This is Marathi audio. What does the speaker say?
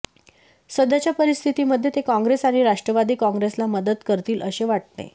सध्याच्या परिस्थितीमध्ये ते काँग्रेस आणि राष्ट्रवादी काँग्रेसला मदत करतील असे वाटते